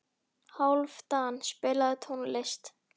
Hálfdan, spilaðu tónlist.